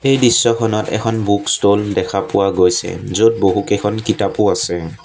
এই দৃশ্যখনত এখন বুক ষ্ট'ল দেখা পোৱা গৈছে য'ত বহুকেইখন কিতাপও আছে।